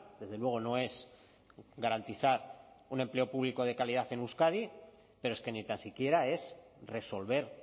desde luego no es garantizar un empleo público de calidad en euskadi pero es que ni tan siquiera es resolver